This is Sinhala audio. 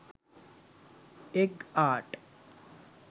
egg art